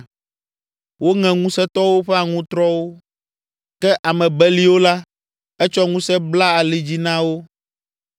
“Woŋe ŋusẽtɔwo ƒe aŋutrɔwo ke ame beliwo la, etsɔ ŋusẽ bla ali dzi na wo.